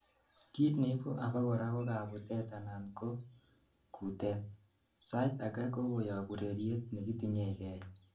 kiit neibu abakora ko kabutet anan ko kutet, sait agei ko koyob ureryet nekitinyegei